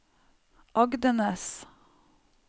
Agdenes